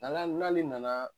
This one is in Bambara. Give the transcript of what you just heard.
n'ale nana